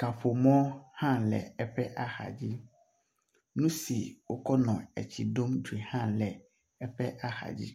kaƒomɔ hã le eƒe axadzi nusi wó kɔnɔ etsi ɖom dzoe hã le eƒe axadzi